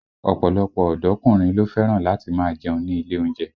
Ọ̀pọ̀lọpọ̀ ọ̀dọ́kùnrin ló fẹ́ràn láti máa jẹun ní ilé oúnjẹ